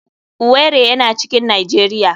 Owerri yana cikin nijeria.